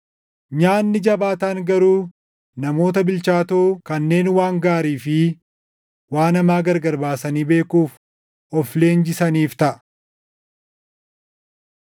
Nyaanni jabaataan garuu namoota bilchaatoo kanneen waan gaarii fi waan hamaa gargar baasanii beekuuf of leenjisaniif taʼa.